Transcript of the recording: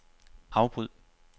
afbryd